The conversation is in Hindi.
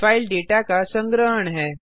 फाइल डेटा का संग्रहण है